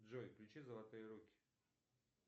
джой включи золотые руки